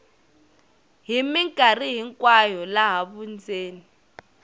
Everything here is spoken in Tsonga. hi mikarhi hinkwayo laha vundzeni